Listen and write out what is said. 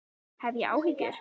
Hef ég áhyggjur?